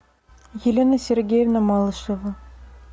елена сергеевна малышева